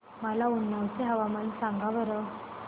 मला उन्नाव चे हवामान सांगा बरं